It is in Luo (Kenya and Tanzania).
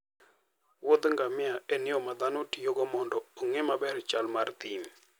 wuodh ngamia en yo ma dhano tiyogo mondo ging'e maber chal mar thim.